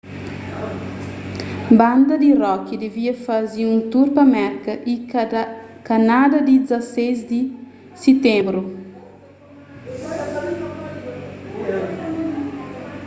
banda di rock devia faze un tur pa merka y kanadá ti 16 di siténbru